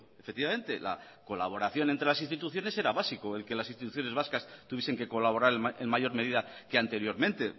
efectivamente la colaboración entre las instituciones era básico el que las instituciones vascas tuviesen que colaborar en mayor medida que anteriormente